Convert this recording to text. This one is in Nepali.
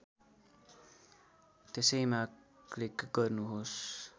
त्यसैमा क्लिक गर्नुहोस्